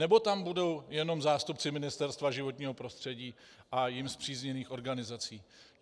Nebo tam budou jenom zástupci Ministerstva životního prostředí a jím spřízněných organizací?